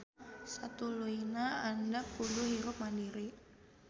Satuluyna hidep kudu hirup mandiri